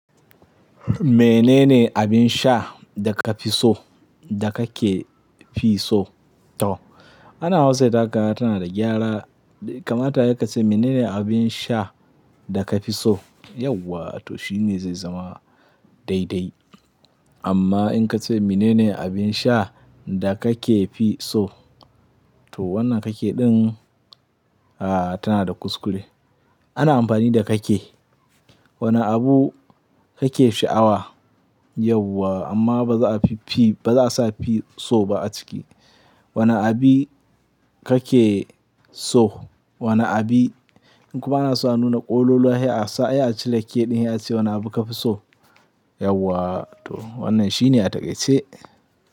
Menene abin sha da ka fi so, da ka ke fi so? Toh, ana wasai za kaga tana da gyara. Kamata ayi ka ce menene abin sha da ka fi so? Yauwa to shine zai zama daidai. Amma in ka ce menene abin sha da ka ke fi so? To wannan ka ke ɗin, a tana da kuskure. Ana amfani da ka ke. Wani abu ka ke sha'awa yauwa amma ba za a fi fi, ba za a sa fi so ba a ciki. Wane abi ka ke so? Wane abi? In kuma ana so a nuna ƙololuwa sai a sa, sai a cire ke ɗin sai a ce wane abu ka fi so? Yauwa to wannan shine a taƙaice.